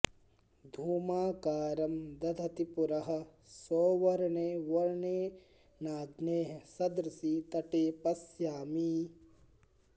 धूमाकारं दधति पुरः सौवर्णे वर्णेनाग्नेः सदृशि तटे पश्यामी